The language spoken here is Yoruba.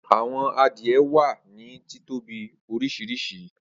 Awọn adie wa ni titobi oriṣiriṣi.